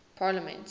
parliaments